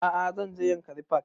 A'a zan je yankari park